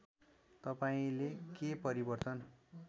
तपाईँंले के परिवर्तन